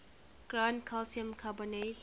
ground calcium carbonate